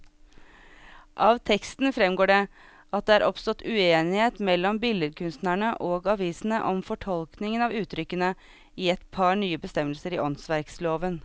Av teksten fremgår det at det er oppstått uenighet mellom billedkunstnerne og avisene om fortolkningen av uttrykkene i et par nye bestemmelser i åndsverkloven.